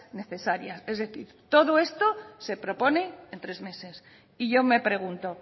necesarias es decir todo esto se propone en tres meses y yo me pregunto